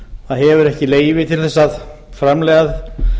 það hefur ekki leyfi til þess að